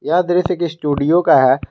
यह दृश्य एक स्टूडियो का है।